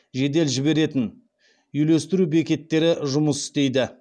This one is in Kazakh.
жедел жіберетін үйлестіру бекеттері жұмыс істейді